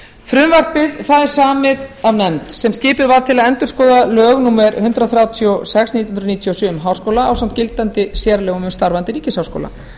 frumvarpið er samið af nefnd sem skipuð var til að endurskoða lög númer hundrað þrjátíu og sex nítján hundruð níutíu og sjö um háskóla ásamt gildandi sérlögum um starfandi ríkisháskóla